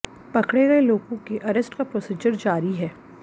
पकड़े गए लोगों के अरेस्ट का प्रोसीजर जारी है